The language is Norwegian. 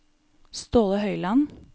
Ståle Høiland